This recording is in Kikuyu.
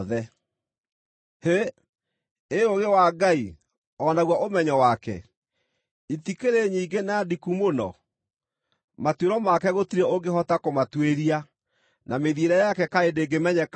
Hĩ! Ĩ ũũgĩ wa Ngai, o naguo ũmenyo wake, itikĩrĩ nyingĩ na ndiku mũno! Matuĩro make gũtirĩ ũngĩhota kũmatuĩria, na mĩthiĩre yake kaĩ ndĩngĩmenyeka-ĩ!